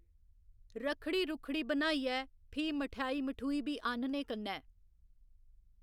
रक्खड़ी रूक्खड़ी बनाइयै फ्ही मठाई मठुई बी आह्‌नने कन्नै